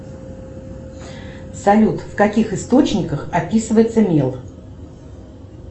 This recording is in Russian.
салют в каких источниках описывается мел